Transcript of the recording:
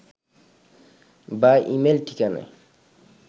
বা ই-মেইল ঠিকানায়